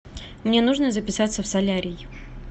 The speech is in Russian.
мне нужно записаться в солярий